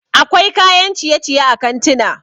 akwai kayan ciye-ciye a kantuna